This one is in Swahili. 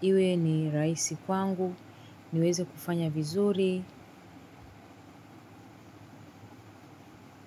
Iwe ni rahisi kwangu, niweze kufanya vizuri.